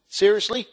Seriously?